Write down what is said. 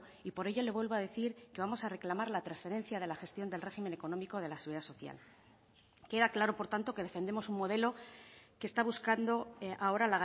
y por ello le vuelvo a decir que vamos a reclamar la transferencia de la gestión del régimen económico de la seguridad social queda claro por tanto que defendemos un modelo que está buscando ahora